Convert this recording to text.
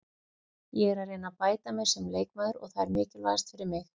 Ég er að reyna að bæta mig sem leikmaður og það er mikilvægast fyrir mig.